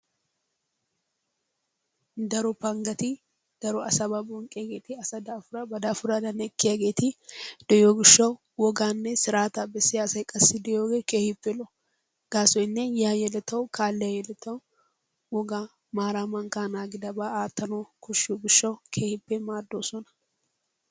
Daro panggati daro asaba bonqqiyageeti, asa daafura ba daafuradan ekkiyaageeti de'iyo gishshawu woganne siraataa bessiya asay qassi de'iyooge keehippe lo''o. Gaasoynne yiya yeletawu kaaliya yeletawu woga maara mankkaa naagidaaba aattanawu koshshiyo gishshawu keehippe maaddoosona.